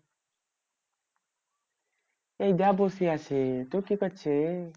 এই তো বসে আছি তুই কি করছিস?